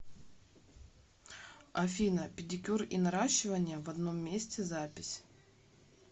афина педикюр и наращивание в одном месте запись